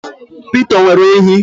Peter, o nwere ehi?